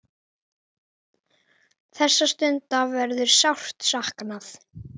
Þessara stunda verður sárt saknað.